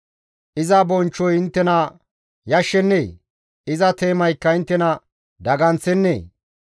Iza bonchchoy inttena yashshennee? Iza teemaykka inttena daganththennee?